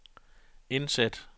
indsæt